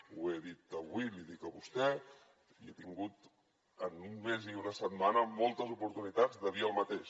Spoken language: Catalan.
ho he dit avui l’hi dic a vostè i he tingut en un mes i una setmana moltes oportunitats de dir el mateix